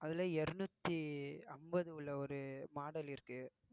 அதுல இருநூற்றி ஐம்பது உள்ள ஒரு model இருக்கு